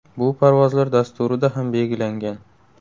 Bu parvozlar dasturida ham belgilangan.